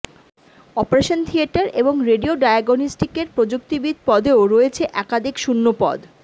operation theatre এবং radio ডায়াগনস্টিকের প্রযুক্তিবিদ পদেও রয়েছে একাধিক শূন্যপদ